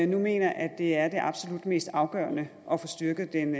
nu mener at det er det absolut mest afgørende at få styrket den